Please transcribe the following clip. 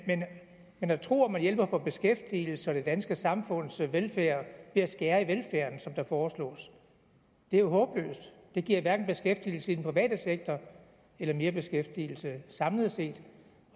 at tro at man hjælper beskæftigelsen og det danske samfunds velfærd ved at skære i velfærden som der foreslås er jo håbløst det giver hverken beskæftigelse i den private sektor eller mere beskæftigelse samlet set